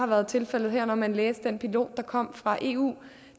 var tilfældet her når man læste den pilot der kom fra eu